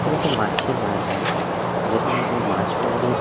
এটা একটা মাছের বাজার যেখানে একজন মাছওয়ালী --